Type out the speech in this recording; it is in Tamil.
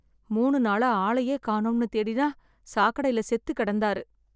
மூணு நாளா ஆளையே காணோம்னு தேடினா சாக்கடைல செத்து கிடந்தார்.